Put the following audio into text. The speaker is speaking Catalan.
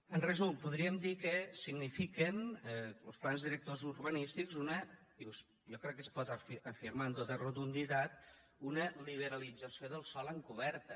en resum podríem dir que signifiquen los plans directors urbanístics una i jo crec que espot afirmar amb tota rotunditat liberalització del sòl encoberta